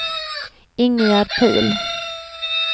Ingegerd Pihl